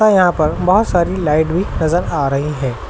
और यहां पर बहुत सारी लाइट भी नजर आ रही है।